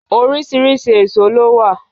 Oriṣiriṣi éṣo lo wa ni o